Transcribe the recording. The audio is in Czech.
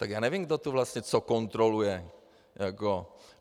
Tak já nevím, kdo tu vlastně co kontroluje.